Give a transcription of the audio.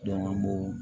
Dɔnku an b'o